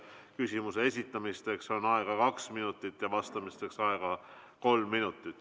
Küsimuse esitamiseks on aega kaks minutit, vastamiseks on aega kolm minutit.